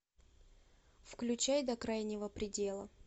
включай до крайнего предела